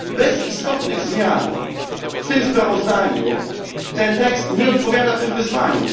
Bez istotnych zmian w tym sprawozdaniu ten tekst nie odpowiada niestety tym wyzwaniom.